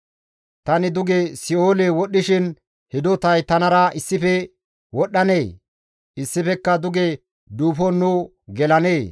Tani duge si7oole wodhishin hidotay tanara issife wodhanee? Issifekka duge duufon nu gelanee?»